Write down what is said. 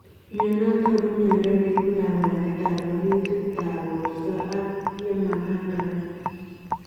Mionitok ko miondoo neibuu kabwanet ap oriitit ap portoo ak yemaapanganak.